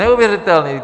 Neuvěřitelné!